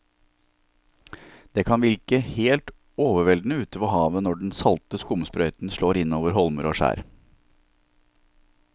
Det kan virke helt overveldende ute ved havet når den salte skumsprøyten slår innover holmer og skjær.